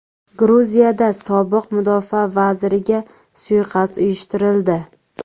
Gruziyada sobiq mudofaa vaziriga suiqasd uyushtirildi.